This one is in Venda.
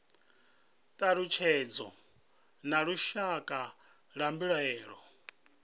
thalutshedzo na lushaka lwa mbilaelo